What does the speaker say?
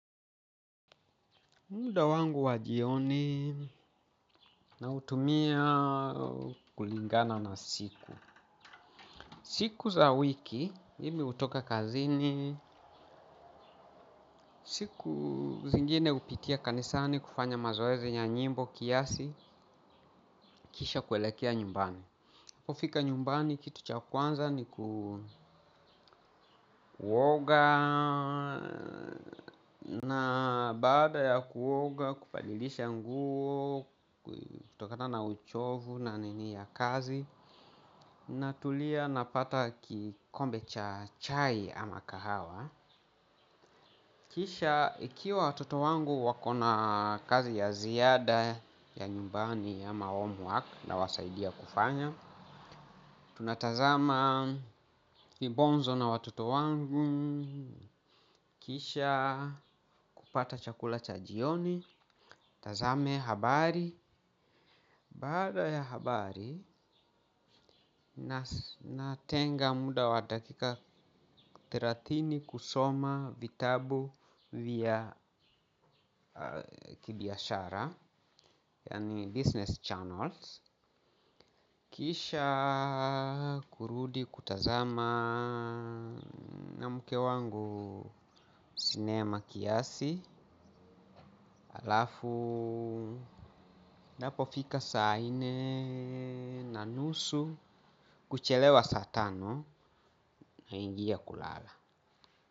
Muda wangu wa jioni nautumia kulingana na siku. Siku za wiki, mimi hutoka kazini, siku zingine hupitia kanisani kufanya mazoezi ya nyimbo kiasi kisha kuelekea nyumbani. Hufika nyumbani kitu cha kwanza ni kuoga na baada ya kuoga kubadilisha nguo kutokana na uchovu na nini ya kazi natulia napata kikombe cha chai ama kahawa. Kisha ikiwa watoto wangu wakona kazi ya ziada ya nyumbani ama homework na nawasaidia kufanya. Tunatazama kibonzo na watoto wangu kisha kupata chakula cha jioni. Nitazame habari. Baada ya habari natenga muda wa dakika thelathini kusoma vitabu vya kibiashara yaani business journals kisha kurudi kutazama na mke wangu sinema kiasi alafu ianpofika saa nne na nusu kuchelewa saa tano naingia kulala.